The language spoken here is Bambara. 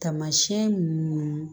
Taamasiyɛn mun